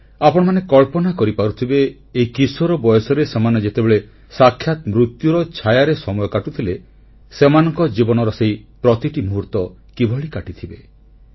ଆପଣମାନେ କଳ୍ପନା କରିପାରୁଥିବେ ଏଇ କିଶୋର ବୟସରେ ସେମାନେ ଯେତେବେଳେ ସାକ୍ଷାତ ମୃତ୍ୟୁର ଛାୟାରେ ସମୟ କାଟୁଥିଲେ ସେମାନଙ୍କ ଜୀବନର ସେଇ ପ୍ରତିଟି ମୁହୂର୍ତ୍ତ କିଭଳି କାଟିଥିବେ